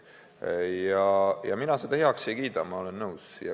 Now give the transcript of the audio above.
Ja mina seda heaks ei kiida, olen teiega nõus.